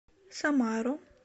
самару